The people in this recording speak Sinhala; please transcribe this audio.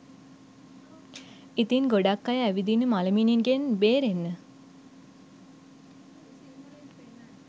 ඉතින් ගොඩක් අය ඇවිදින මළමිණිගෙන් බේරෙන්න